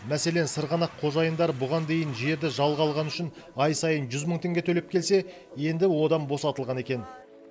мәселен сырғанақ қожайындары бұған дейін жерді жалға алғаны үшін ай сайын жүз мың теңге төлеп келсе енді одан босатылған екен